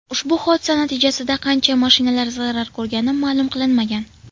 Ushbu hodisa natijasida qancha mashinalar zarar ko‘rgani ma’lum qilinmagan.